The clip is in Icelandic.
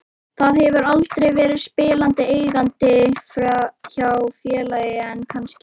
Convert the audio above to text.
Það hefur aldrei verið spilandi eigandi hjá félagi en kannski?